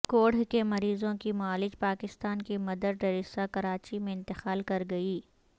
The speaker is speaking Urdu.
کوڑھ کے مریضوں کی معالج پاکستان کی مدر ٹریسا کراچی میں انتقال کرگئی